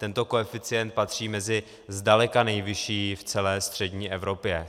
Tento koeficient patří mezi zdaleka nejvyšší v celé střední Evropě.